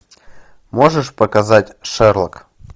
можешь показать шерлок